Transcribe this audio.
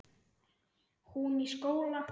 Hún í skóla.